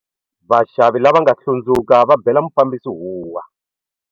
Vaxavi lava va nga hlundzuka va bela mufambisi huwa.